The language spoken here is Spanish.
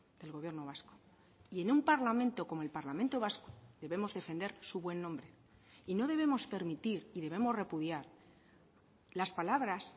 del gobierno vasco y en un parlamento como el parlamento vasco debemos defender su buen nombre y no debemos permitir y debemos repudiar las palabras